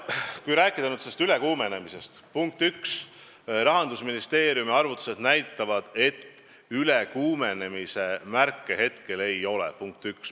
Kui rääkida ülekuumenemisest, siis punkt 1: Rahandusministeeriumi arvutused näitavad, et ülekuumenemise märke praegu ei ole.